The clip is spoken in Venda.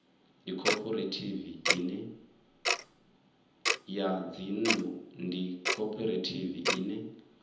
ya dzinnḓu ndi khophorethivi ine